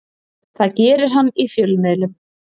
Það gerir hann í fjölmiðlum